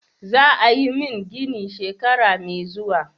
Za a yi min gini shekara mai zuwa.